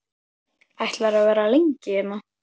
Ætlarðu að vera lengi hérna?